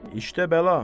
İşdə bəla.